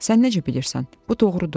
Sən necə bilirsən, bu doğrudur?